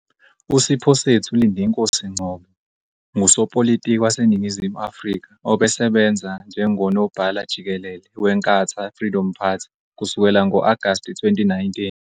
USiphosethu Lindinkosi Ngcobo ngusopolitiki waseNingizimu Afrika obesebenza njengoNobhala-Jikelele weNkatha Freedom Party kusukela ngo-Agasti 2019.